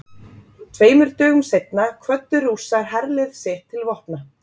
tveimur dögum seinna kvöddu rússar herlið sitt til vopna